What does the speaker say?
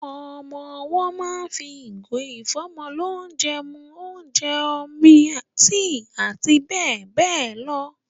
Ọmọ owọ́ máa ń fi ìgò ìfọ́mọlónjẹ mu óúnjẹ, omi, tíì àti bẹ́ẹ̀ bẹ́ẹ̀ lọ.